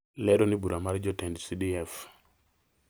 lero ni bura mar jotend CDF